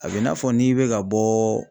A bɛ i n'a fɔ n'i bɛ ka bɔ